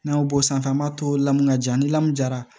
N'an y'o bɔ sanfɛ an b'a to lamu ka ja ni lamɔ jara